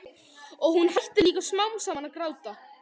Og hún hættir líka smám saman að gráta.